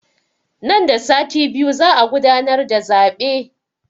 Nan da sati biyu za a gudanar da zaɓe